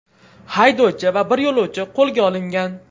Haydovchi va bir yo‘lovchi qo‘lga olingan.